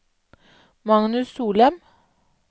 Magnus Solem